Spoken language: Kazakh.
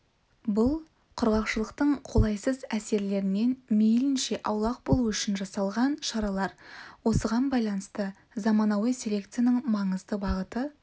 бұл құрғақшылықтың қолайсыз әсерлерінен мейлінше аулақ болу үшін жасалған шаралар осыған байланысты заманауи селекцияның маңызды бағыты